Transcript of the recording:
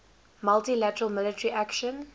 multi lateral military action